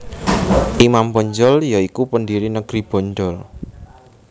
Imam Bonjol ya iku pendiri negeri Bonjol